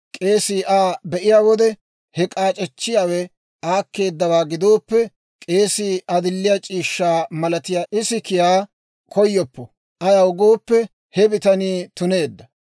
k'eesii Aa be'iyaa wode he k'aac'echchiyaawe aakkeeddawaa gidooppe, k'eesii adilliyaa c'iishshaa malatiyaa isikiyaa koyoppo; ayaw gooppe, he bitanii tuneedda.